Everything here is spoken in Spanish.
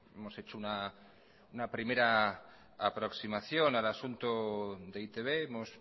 hemos hecho una primera aproximación al asunto de e i te be hemos